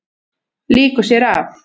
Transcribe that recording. Lýkur sér af.